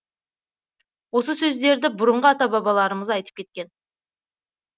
осы сөздерді бұрынғы ата бабаларымыз айтып кеткен